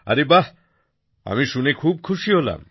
আরে বাহ আমি শুনে খুব খুশি হলাম